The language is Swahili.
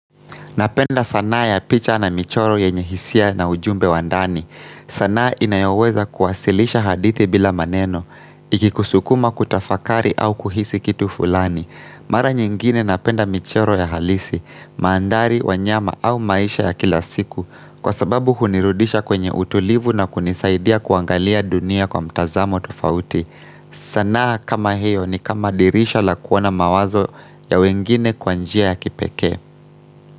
Napenda sanaa ya picha na michoro yenye hisia na ujumbe wa ndani. Sanaa inayoweza kuwasilisha hadithi bila maneno, ikikusukuma kutafakari au kuhisi kitu fulani. Mara nyingine napenda michoro ya halisi, mandhari, wanyama au maisha ya kila siku, kwa sababu hunirudisha kwenye utulivu na kunisaidia kuangalia dunia kwa mtazamo tofauti. Sanaa kama hio ni kama dirisha la kuona mawazo ya wengine kwa njia ya kipekee.